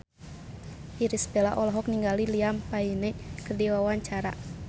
Irish Bella olohok ningali Liam Payne keur diwawancara